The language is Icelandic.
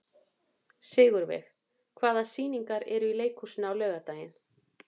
Sigurveig, hvaða sýningar eru í leikhúsinu á laugardaginn?